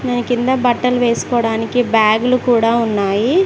దాని కింద బట్టలు వేసుకోవడానికి బ్యాగులు కూడా ఉన్నాయి.